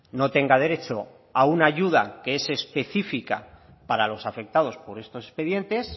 no tenga derecho a una ayuda que es específica para los afectados por estos expedientes